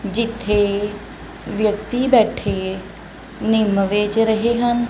ਜਿੱਥੇ ਵਿਅਕਤੀ ਬੈਠੇ ਨਿੰਮ ਵੇਚ ਰਹੇ ਹਨ।